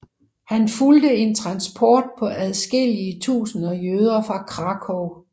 Han fulgte en transport på adskillige tusinder jøder fra Krakow